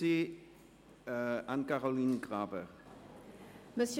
Wir kommen zu den Fraktionen.